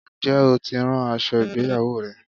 Ǹjẹ́ o tí ń rán aṣọ ìgbéyawó rẹ?